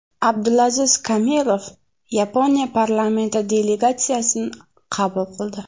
Abdulaziz Kamilov Yaponiya parlamenti delegatsiyasini qabul qildi.